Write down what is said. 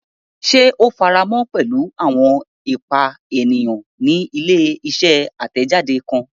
Ṣe o faramọ pẹlu awọn ipa eniyan ni ile-iṣẹ atẹjade kan?